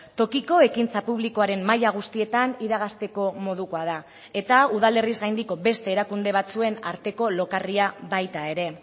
tokiko ekintza publikoaren maila guztietan iragazteko modukoa da eta udalerriz gaindiko beste erakunde batzuen arteko lokarria baita ere